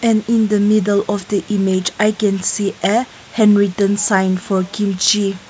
in the middle of the image i can see a handwritten sign for kimchi.